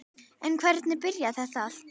En hvernig byrjaði þetta allt?